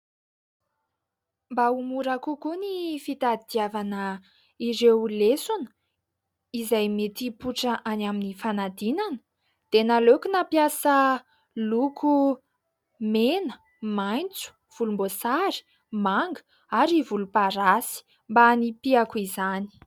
Mba ho mora kokoa ny fitadidiavana ireo lesona izay mipoitra any amin'ny fanadinana dia naleoko nampiasa loko : mena, maitso, volomboasary, manga ary volomparasy mba hanipihako izany.